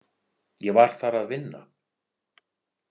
Ég var þar að vinna.